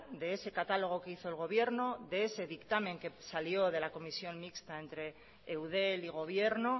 de ese catálogo que hizo el gobierno de ese dictamen que salió de la comisión mixta entre eudel y gobierno